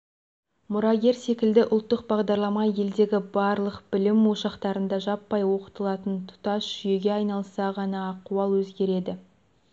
мұрагер секілді ұлттық бағдарлама елдегі барлық білім ошақтарында жаппай оқытылатын тұтас жүйеге айналса ғана ахуал өзгереді